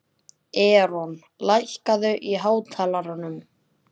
Eron, lækkaðu í hátalaranum.